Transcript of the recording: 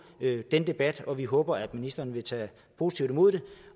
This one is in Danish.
den debat og vi håber at ministeren vil tage positivt imod det